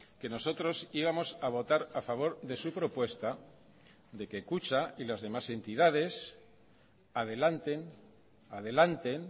que nosotros íbamos a votar a favor de su propuesta de que kutxa y las demás entidades adelanten adelanten